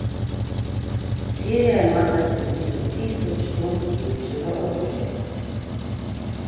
Sirija ima zdaj približno tisoč ton kemičnega orožja.